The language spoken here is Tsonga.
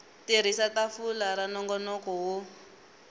tirhisa tafula ra nongonoko wo